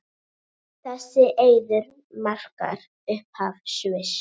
Þessi eiður markar upphaf Sviss.